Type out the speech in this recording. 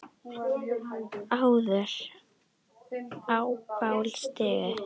áður á bál stigi